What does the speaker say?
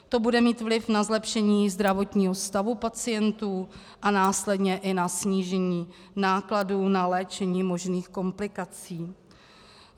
To bude mít vliv na zlepšení zdravotního stavu pacientů a následně i na snížení nákladů na léčení možných komplikací.